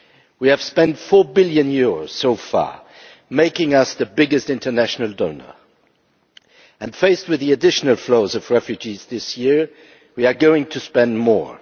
We have spent EUR 4 billion so far, making us the biggest international donor and, faced with the additional flows of refugees this year, we are going to spend more.